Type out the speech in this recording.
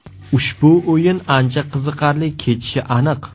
Ushbu o‘yin ancha qiziqarli kechishi aniq.